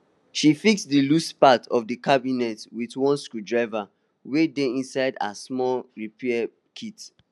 she fix di loose part of the cabinet with one screwdriver wey dey inside her small repair kit